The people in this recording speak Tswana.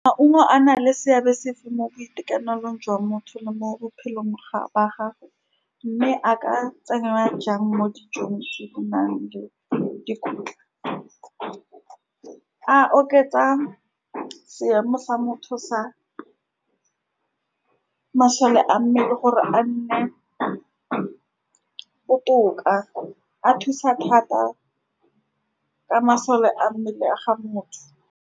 Maungo a na le seabe sefe mo boitekanelong jwa motho le mo bophelong ga ba ga, mme a ka tsenngwa jang mo dijong tse di nang le-le dikotla, a oketsa seemo sa motho sa masole a mmele gore a nne botoka, a thusa thata ka masole a mmele a ga motho.